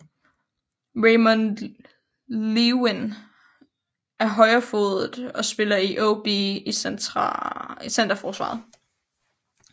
Ramon Leeuwin er højrefodet og spiller i OB i centerforsvaret